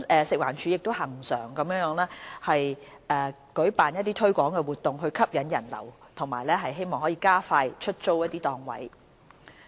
食環署亦恆常舉辦推廣活動，以吸引人流和加快出租檔位。